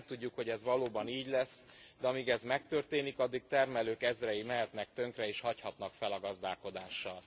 Nem tudjuk, hogy ez valóban így lesz e, de amíg ez megtörténik, addig termelők ezrei mehetnek tönkre és hagyhatnak fel a gazdálkodással.